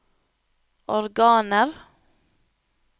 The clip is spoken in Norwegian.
organer